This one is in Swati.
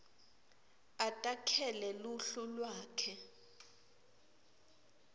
atakhele luhlu lwakhe